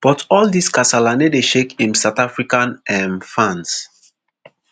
but all dis kasala no dey shake im south african um fans